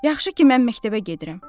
Yaxşı ki mən məktəbə gedirəm.